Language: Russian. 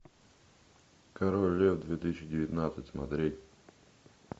король лев две тысячи девятнадцать смотреть